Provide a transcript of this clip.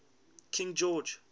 king george